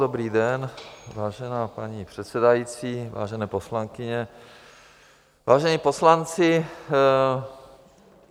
Dobrý den, vážená paní předsedající, vážené poslankyně, vážení poslanci.